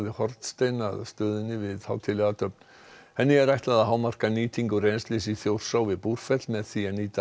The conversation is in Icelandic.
hornstein að stöðinni við hátíðlega athöfn henni er ætlað að hámarka nýtingu rennslis í Þjórsá við Búrfell með því að nýta